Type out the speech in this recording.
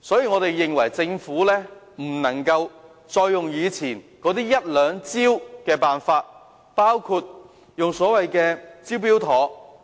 我們認為政府不可以再沿用以往的一兩招數，包括所謂的"招標妥"計劃。